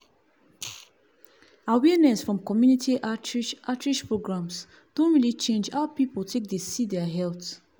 awareness from community outreach outreach programs don really change how people take dey see their health.